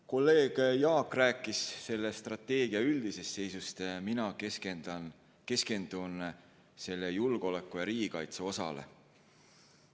Kolleeg Jaak rääkis strateegia üldisest seisust, mina keskendun selle julgeoleku- ja riigikaitseosale.